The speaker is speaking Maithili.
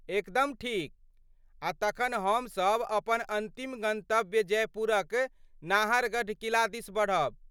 एकदम ठीक। आ तखन हम सभ अपन अन्तिम गन्तव्य जयपुरक नाहरगढ़ किला दिस बढ़ब।